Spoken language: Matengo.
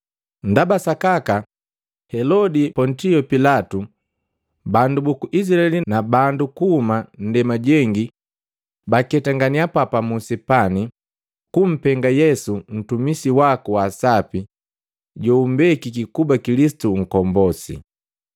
Ndaba sakaka Helodi, Pontio Pilatu, bandu buku Izilaeli na bandu kuhuma ndema jengi baketenganhya papamusi pani, kumpenga Yesu ntumisi waku wa sapi joumbekiki kuba Kilisitu Nkombosi.